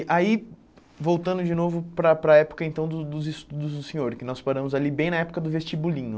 Aí voltando de novo para a para a época então dos dos estudos do senhor, que nós paramos ali bem na época do vestibulinho.